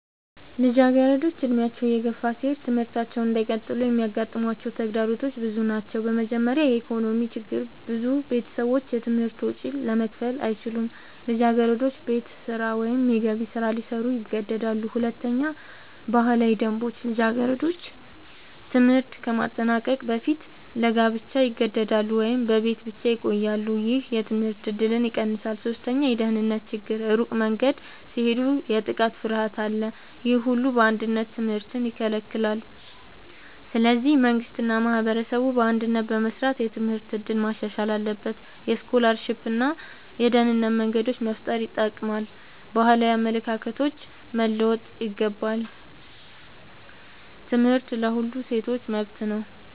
ልጃገረዶች ዕድሜያቸው እየገፋ ሲሄድ ትምህርታቸውን እንዳይቀጥሉ የሚያጋጥሟቸው ተግዳሮቶች ብዙ ናቸው። በመጀመሪያ የኢኮኖሚ ችግር ብዙ ቤተሰቦች የትምህርት ወጪ ለመክፈል አይችሉም። ልጃገረዶች ቤት ስራ ወይም የገቢ ስራ ሊሰሩ ይገደዳሉ። ሁለተኛ ባህላዊ ደንቦች ልጃገረዶች ትምህርት ከማጠናቀቅ በፊት ለጋብቻ ይገደዳሉ ወይም በቤት ብቻ ይቆያሉ። ይህ የትምህርት እድልን ይቀንሳል። ሶስተኛ የደህንነት ችግር ሩቅ መንገድ ሲሄዱ የጥቃት ፍርሃት አለ። ይህ ሁሉ በአንድነት ትምህርትን ይከለክላል። ስለዚህ መንግሥት እና ማህበረሰብ በአንድነት በመስራት የትምህርት እድል ማሻሻል አለባቸው። የስኮላርሺፕ እና የደህንነት መንገዶች መፍጠር ይጠቅማል። ባህላዊ አመለካከቶች መለወጥ ይገባል። ትምህርት ለሁሉም ሴቶች መብት ነው።